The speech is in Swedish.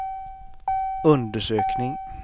undersökning